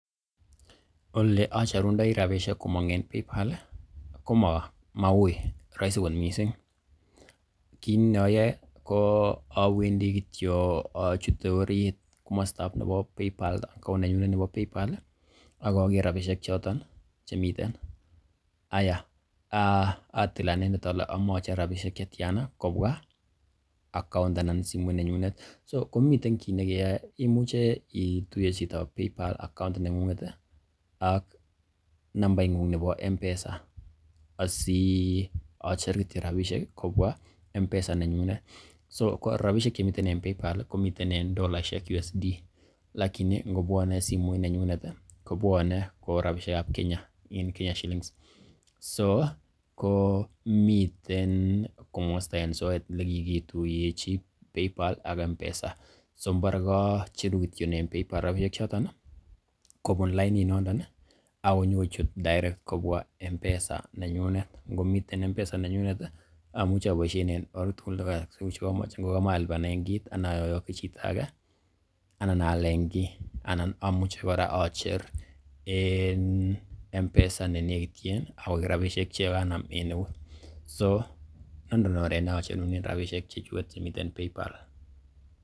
Ole acherundoi rabishek komong en Paypal komauiy rahisi kot mising, kit ne oyoe ko awendi kityo achute orit komostab nebo Paypal account nenyunet nebo Paypal ak ogere rabishek choton chemiten. Haiya atil anendet ole omoe ochere rabishek che tyana kobwa account anan simoit nenyunet. So komiten kit nekeyoe imuche ituiye chito account Paypal neng'ung'et ak nambaing'ung nebo M-Pesa asiocher kityo rabishek kobwa M-Pesa nenyunet. So ko rabishek chemiten en Paypal komiten en dollaishek USD lakini ngobwone simoit nenyunet kobwone ko rabishek ab Kenya Kenya shillings. So ko miten komosta en soet ele kigituiyechi Paypal ak M-Pesa so mbore kocheru kityo en Paypal rabishek choton kobun lainit nondon ak konyikochut direct kobwa M-Pesa nenyunet. Ngomiten M-Pesa nenyunet amuche aboishen en or agetugul che komoche ngo komoe alipanen kit anan oyoki chito age anan aalen kiy, anan amuche kora ocher en M-Pesa ne negityin akoik rabishek che kanam en eut. So nondon oret ne acherunen rabishek che chuget chemiten Paypal.